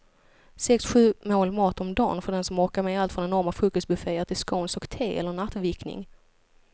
Sex, sju mål mat om dagen för den som orkar med allt från enorma frukostbufféer till scones och te eller nattvickning.